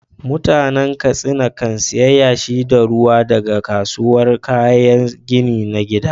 Mutanen Katsina kan sayi yashi da ruwa daga kasuwar kayan gini na gida.